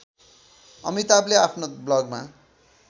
अमिताभले आफ्नो ब्लगमा